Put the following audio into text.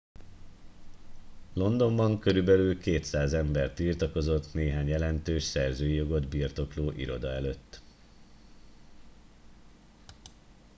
londonban körülbelül 200 ember tiltakozott néhány jelentős szerzői jogot birtokló iroda előtt